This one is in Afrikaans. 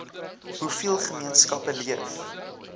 hoeveel gemeenskappe leef